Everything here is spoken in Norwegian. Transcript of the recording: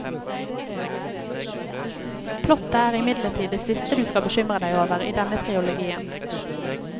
Plottet er imidlertid det siste du skal bekymre deg over i denne trilogien.